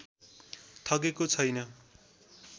ठगेको छैन